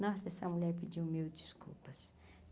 Nossa, essa mulher pediu mil desculpas.